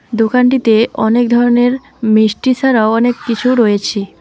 দোকানটিতে অনেক ধরনের মিষ্টি ছাড়াও অনেক কিছু রয়েছে।